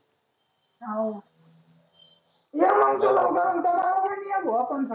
हाव ये मग तु लवकर भो आपण